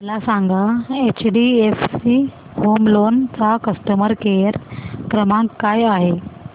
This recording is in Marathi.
मला सांगा एचडीएफसी होम लोन चा कस्टमर केअर क्रमांक काय आहे